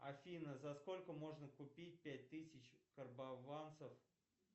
афина за сколько можно купить пять тысяч карбованцев